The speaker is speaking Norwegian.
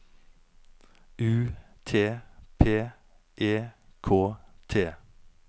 U T P E K T